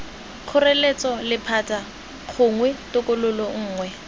kgoreletso lephata gongwe tokololo nngwe